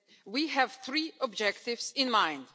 We have three objectives in mind.